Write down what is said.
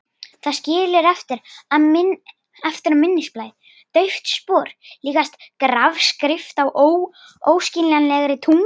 Það skilur eftir á minnisblaði dauft spor, líkast grafskrift á óskiljanlegri tungu.